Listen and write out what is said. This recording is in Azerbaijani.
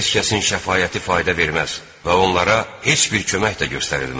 Heç kəsin şəfaəti fayda verməz və onlara heç bir kömək də göstərilməz.